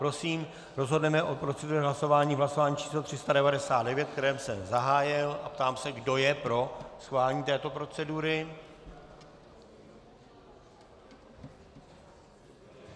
Prosím, rozhodneme o proceduře hlasování v hlasování číslo 399, které jsem zahájil, a ptám se, kdo je pro schválení této procedury.